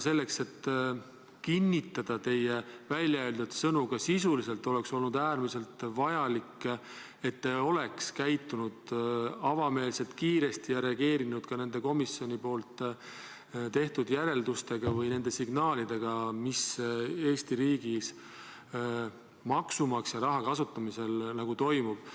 Selleks, et kinnitada teie väljaöeldud sõnu ka sisuliselt, oleks olnud äärmiselt vajalik, et te oleks käitunud avameelselt ja kiiresti ning reageerinud ka komisjoni tehtud järeldustele või signaalidele seoses sellega, mis Eesti riigis maksumaksja raha kasutamisel toimub.